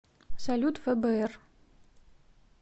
салют фбр